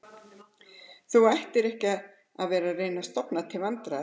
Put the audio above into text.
Þú ættir ekki að vera að reyna að stofna til vandræða